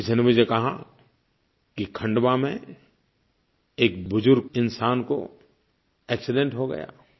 किसी ने मुझे कहा कि खंडवा में एक बुज़ुर्ग इंसान का एक्सीडेंट हो गया